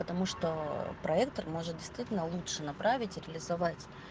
потому что проектор может действительно лучше направить реализовать